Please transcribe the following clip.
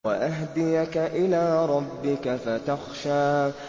وَأَهْدِيَكَ إِلَىٰ رَبِّكَ فَتَخْشَىٰ